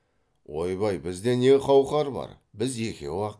ойбай бізде не қауқар бар біз екеу ақ